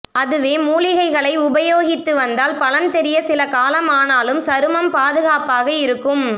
அதுவே மூலிகைகளை உபயோகித்து வந்தால் பலன் தெரிய சில காலம் ஆனாலும் சருமம் பாதுகாப்பாக இருக்கும